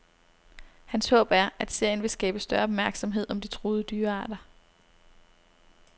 Hans håb er, at serien vil skabe større opmærksomhed om de truede dyrearter.